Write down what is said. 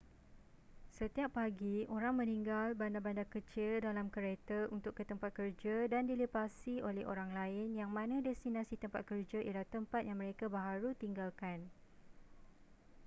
setiap pagi orang meninggal bandar-bandar kecil dalam kereta untuk ke tempat kerja dan dilepasi oleh orang lain yang mana destinasi tempat kerja ialah tempat yang mereka baharu tinggalkan